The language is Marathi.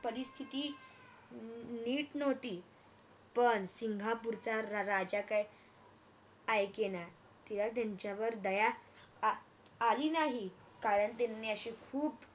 परिस्थिति अह नीट नव्हती पण सिंगपूरचा राजा काय आयकेना त्याला तीनच्यावर दया आली नाही कारण त्याने अशे खूप